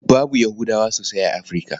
Babu Yahudawa sosai a Afirka.